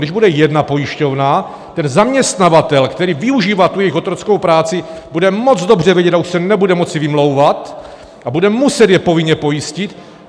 Když bude jedna pojišťovna, ten zaměstnavatel, který využívá tu jejich otrockou práci, bude moc dobře vědět a už se nebude moci vymlouvat a bude muset je povinně pojistit.